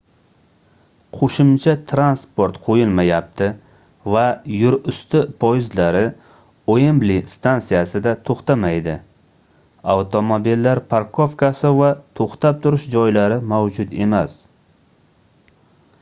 qoʻshimcha transport qoʻyilmayapti va yerusti poyezdlari uembli stansiyasida toʻxtamaydi avtomobillar parkovkasi va toʻxtab turish joylari mavjud emas